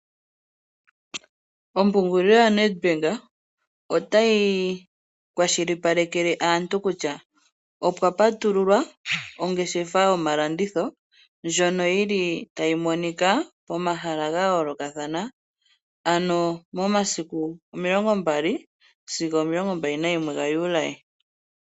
Ombaanga yo NET Bank otayi kwashilipaleke aantu kutya. Opwa patululwa ongeshefa yomalanditho ndjono yili tayi momika . Pomahala ga yoolokathana ano momasiku omilongo mbali sigo omilongo mbali nalimwe ga Juli.